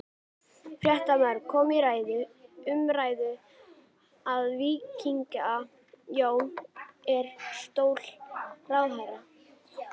Fréttamaður: Kom til ræðu, umræðu að víkja Jóni úr stóli ráðherra?